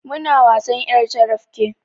Muna wasan ƴar carabke